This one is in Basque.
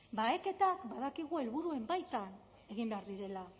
baheketak badakigu helburuen baitan egin behar direla